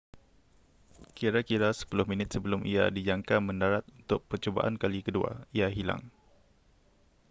kira-kira sepuluh minit sebelum ia dijangka mendarat untuk percubaan kali kedua ia hilang